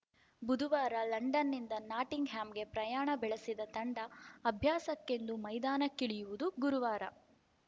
ಬುಧುವಾರ ಲಂಡನ್‌ನಿಂದ ನಾಟಿಂಗ್‌ಹ್ಯಾಮ್‌ಗೆ ಪ್ರಯಾಣ ಬೆಳೆಸಿದ ತಂಡ ಅಭ್ಯಾಸಕ್ಕೆಂದು ಮೈದಾನಕ್ಕಿಳಿಯುವುದು ಗುರುವಾರ